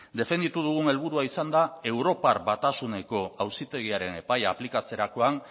defenditu dugun helburua izan da europar batasuneko auzitegiaren epaia aplikatzerakoan